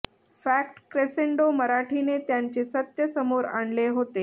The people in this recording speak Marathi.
फॅक्ट क्रेसेंडो मराठीने त्यांचे सत्य समोर आणले होते